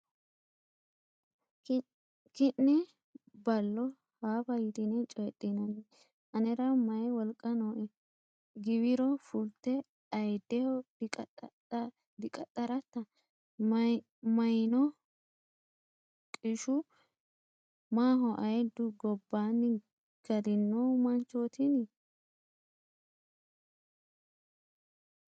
Ki’ne ballo haafa yitine coydhinanni anera mayi wolqa nooe?. Giwiro fulte ayiddeho diqaxxaratta? Mayinniho qishu? maaho ayiddu gobbaanni galino manchootini?